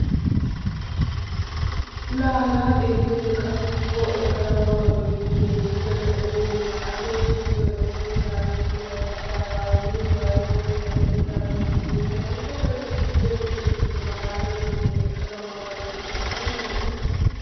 La haga xeeliyode qassi coo ekkada ma maa giidi keehippe lo''essine ashoy sulissoy oosetidaagee pilay kaa'idaaga yuushuwaan oyttay uttidaage budenay ubbabaykka xeeliyoode keehipe malaalessine ekkada ma ma gees, la aybba lo''ii!